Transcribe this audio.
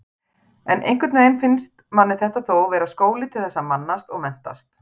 En einhvern veginn fannst manni þetta þó vera skóli til þess að mannast og menntast.